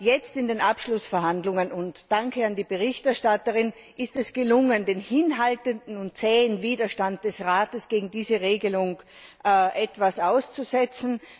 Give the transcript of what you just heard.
Jetzt in den Abschlussverhandlungen danke an die Berichterstatterin ist es gelungen, den hinhaltenden und zähen Widerstand des Rates gegen diese Regelung etwas auszusetzen.